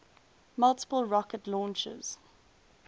multiple rocket launchers